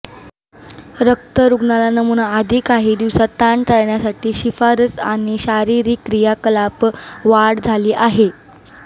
रक्त रुग्णाला नमूना आधी काही दिवसात ताण टाळण्यासाठी शिफारस आणि शारीरिक क्रियाकलाप वाढ झाली आहे